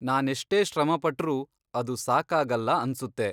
ನಾನೆಷ್ಟೇ ಶ್ರಮಪಟ್ರೂ ಅದು ಸಾಕಾಗಲ್ಲ ಅನ್ಸುತ್ತೆ.